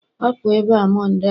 Hapụ ebe a Monde a!